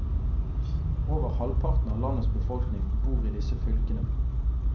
Over halvparten av landets befolkning bor i disse fylkene.